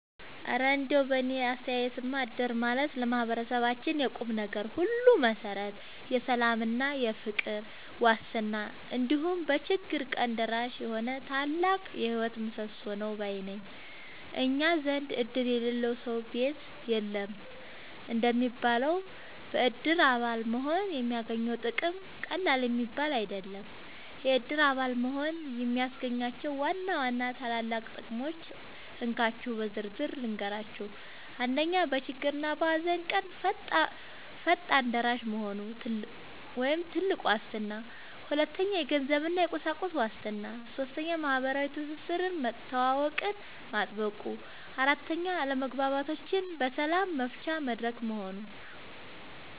እረ እንደው በእኔ አስተያየትማ እድር ማለት ለማህበረሰባችን የቁምነገር ሁሉ መሠረት፣ የሰላምና የፍቅር ዋስትና፣ እንዲሁም በችግር ቀን ደራሽ የሆነ ታላቅ የህይወት ምሰሶ ነው ባይ ነኝ! እኛ ዘንድ "እድር የሌለው ሰው ቤት የለውም" እንደሚባለው፣ በእድር አባል መሆን የሚገኘው ጥቅም ቀላል የሚባል አይደለም። የእድር አባል መሆን የሚያስገኛቸውን ዋና ዋና ታላላቅ ጥቅሞች እንካችሁ በዝርዝር ልንገራችሁ፦ 1. በችግርና በሃዘን ቀን ፈጣን ደራሽ መሆኑ (ትልቁ ዋስትና) 2. የገንዘብና የቁሳቁስ ዋስትና 3. ማህበራዊ ትስስርና መተዋወቅን ማጥበቁ 4. አለመግባባቶችን በሰላም መፍቻ መድረክ መሆኑ